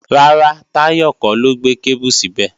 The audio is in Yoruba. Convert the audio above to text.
Rárá, Táyọ̀ kọ́ ló gbé kébù síbẹ̀